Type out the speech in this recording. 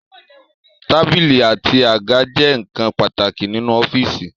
Tábìlì àti àga jẹ́ ǹkan pàtàkì nínú ọ́fìsì